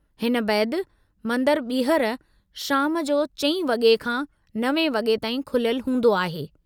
हिन बैदि, मंदरु ॿीहर शाम 4 वॻे खां 9 वॻे ताईं खुलियलु हूंदो आहे।